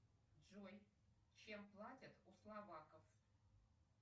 джой чем платят у словаков